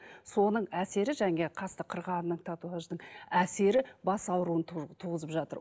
соның әсері жаңағы қасты қырғанның татуаждың әсері бас ауруын туғызып жатыр